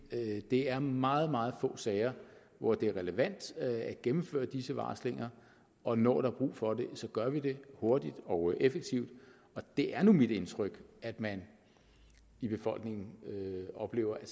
det er meget meget få sager hvor det er relevant at gennemføre disse varslinger og når der er brug for det gør vi det hurtigt og effektivt og det er nu mit indtryk at man i befolkningen oplever at